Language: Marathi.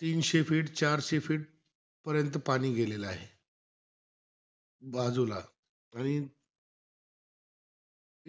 तीनशे feet, चारशे feet पर्यंत पाणी गेलेलं आहे बाजूला. आणि